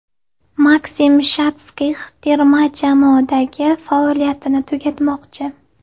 Maksim Shatskix terma jamoadagi faoliyatini tugatmoqchi .